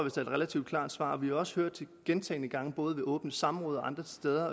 et relativt klart svar vi har også gentagne gange både i åbne samråd og andre steder